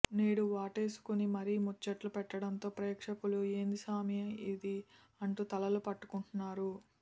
నేడు వాటేసుకుని మరీ ముచ్చట్లు పెట్టడంతో ప్రేక్షకులు ఏంది సామీ ఇదీ అంటూ తలలు పట్టుకుంటున్నారు